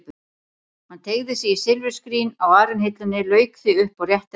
Hann teygði sig í silfurskrín á arinhillunni, lauk því upp og rétti að mér.